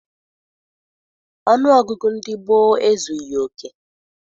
Ọnụọgụgụ ndị gboo ezughị oke.